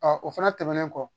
o fana tɛmɛnen kɔ